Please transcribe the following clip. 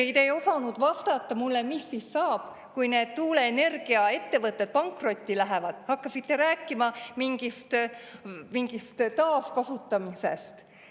Te isegi ei osanud vastata mulle, mis saab siis, kui need tuuleenergia-ettevõtted pankrotti lähevad, hakkasite rääkima mingist taaskasutamisest.